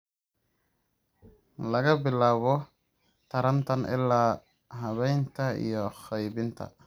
laga bilaabo taranta ilaa habaynta iyo qaybinta.